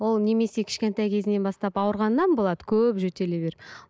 ол немесе кішкентай кезінен бастап ауырғаннан болады көп жөтеле беріп